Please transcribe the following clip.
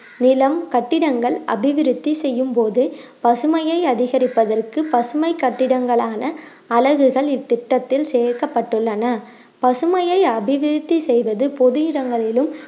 நிலம் கட்டிடங்கள் அபிவிருத்தி செய்யும் போது பசுமையை அதிகரிப்பதற்கு பசுமை கட்டிடங்களான அலகுகள் இத்திட்டத்தில் சேர்க்கப்பட்டுள்ளன பசுமையை அபிவிருத்தி செய்வது பொது இடங்களிலும்